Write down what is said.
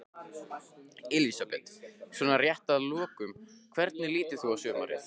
Elísabet: Svona rétt að lokum, hvernig lítur þú á sumarið?